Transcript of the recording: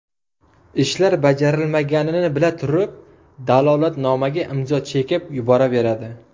Ishlar bajarilmaganini bila turib, dalolatnomaga imzo chekib yuboraveradi.